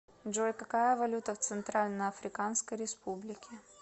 джой какая валюта в центральноафриканской республике